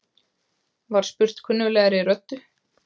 var spurt kunnuglegri röddu.